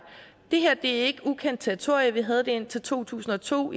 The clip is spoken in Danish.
det her er ikke ukendt territorium vi havde det indtil to tusind og to